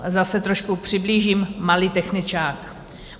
Zase trošku přiblížím - malý techničák.